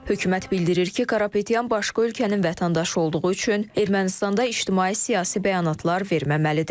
Hökumət bildirir ki, Karapetyan başqa ölkənin vətəndaşı olduğu üçün Ermənistanda ictimai-siyasi bəyanatlar verməməlidir.